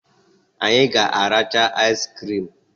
Anyị ga aracha aiz crim.